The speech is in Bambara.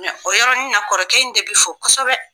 o y yɔrɔnin na kɔrɔkɛ in de bɛ fɔ kosɛbɛ.